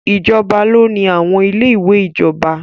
Ìjọba ló ni àwọn ilé ìwé ìjọba.